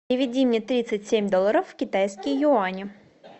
переведи мне тридцать семь долларов в китайские юани